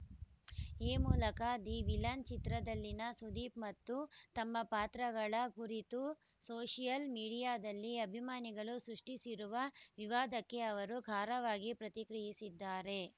ಈ ಮೂಲಕ The Villain ಚಿತ್ರದಲ್ಲಿನ ಸುದೀಪ್‌ ಮತ್ತು ತಮ್ಮ ಪಾತ್ರಗಳ ಕುರಿತು ಸೋಷಿಯಲ್‌ ಮೀಡಿಯಾದಲ್ಲಿ ಅಭಿಮಾನಿಗಳು ಸೃಷ್ಟಿಸಿರುವ ವಿವಾದಕ್ಕೆ ಅವರು ಖಾರವಾಗಿ ಪ್ರತಿಕ್ರಿಯಿಸಿದ್ದಾರೆ